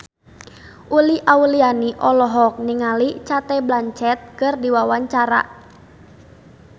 Uli Auliani olohok ningali Cate Blanchett keur diwawancara